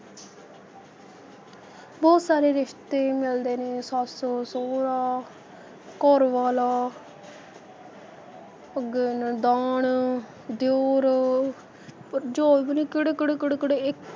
ਬਹੁਤ ਸਾਰੇ ਰਿਸ਼ਤੇ ਮਿਲਦੇ ਨੇ ਸੱਸ, ਸਹੁਰਾ, ਘਰਵਾਲਾ ਅੱਗੇ ਨਨਾਣ, ਦਿਉਰ, ਭਰਜਾਈ ਪਤਾ ਨਹੀਂ ਕਿਹੜੇ ਕਿਹੜੇ ਕਿਹੜੇ ਕਿਹੜੇ ਏ~